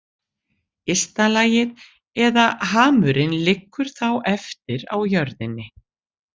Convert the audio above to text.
Ysta lagið eða hamurinn liggur þá eftir á jörðinni.